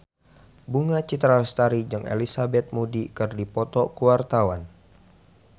Bunga Citra Lestari jeung Elizabeth Moody keur dipoto ku wartawan